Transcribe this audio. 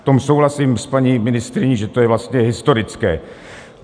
V tom souhlasím s paní ministryní, že to je vlastně historické.